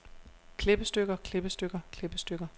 klippestykker klippestykker klippestykker